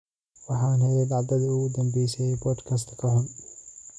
Waxaan helay dhacdadii ugu dambeysay ee podcast-ka xun